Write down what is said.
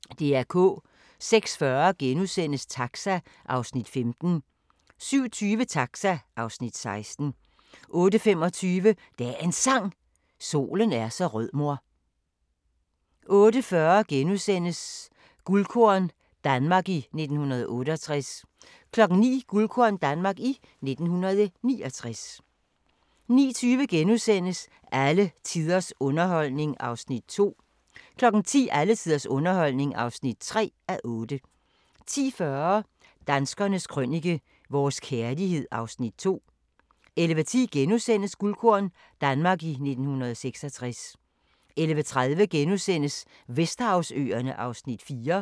06:40: Taxa (Afs. 15)* 07:20: Taxa (Afs. 16) 08:25: Dagens Sang: Solen er så rød mor 08:40: Guldkorn – Danmark i 1968 * 09:00: Guldkorn - Danmark i 1969 09:20: Alle tiders underholdning (2:8)* 10:00: Alle tiders underholdning (3:8) 10:40: Danskernes Krønike - vores kærlighed (Afs. 2) 11:10: Guldkorn – Danmark i 1966 * 11:30: Vesterhavsøerne (Afs. 4)*